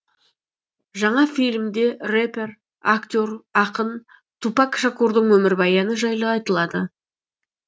жаңа фильмде рэпер актер ақын тупак шакурдың өмірбаяны жайлы айтылады